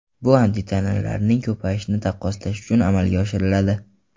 Bu antitanalarning ko‘payishini taqqoslash uchun amalga oshiriladi.